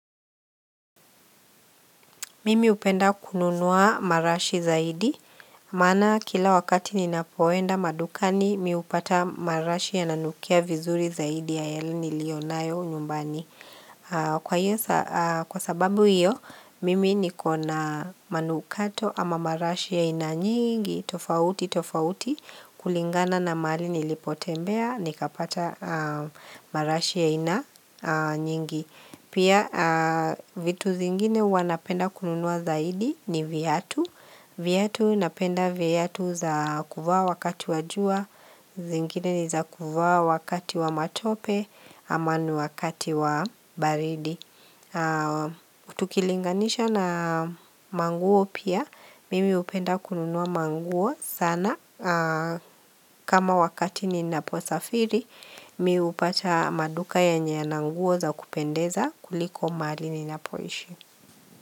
Mimi hupenda kununua marashi zaidi, maana kila wakati ninapoenda madukani mimi hupata marashi yananukia vizuri zaidi ya yale nilionayo nyumbani. Kwa sababu hiyo, mimi nikona manukato ama marashi ya ainanyingi, tofauti, tofauti, kulingana na mahali nilipotembea, nikapata marashi ya ainanyingi. Pia vitu zingine huwa napenda kununua zaidi ni viatu viatu napenda viatu za kuvaa wakati wa jua zingine ni za kuvaa wakati wa matope ama ni wakati wa baridi tukilinganisha na manguo pia Mimi hupenda kununua manguo sana kama wakati ninapo safiri Mimi hupata maduka yenye yananguo za kupendeza kuliko mahali ninapoishi.